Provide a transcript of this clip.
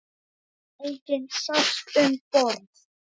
Enginn sást um borð.